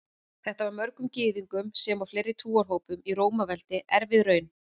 Þetta var mörgum Gyðingum sem og fleiri trúarhópum í Rómaveldi erfið raun.